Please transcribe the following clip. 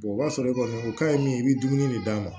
o b'a sɔrɔ e kɔni o ka ɲi min i bɛ dumuni de d'a ma